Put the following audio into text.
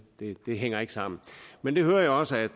hænger ikke sammen men jeg hører også at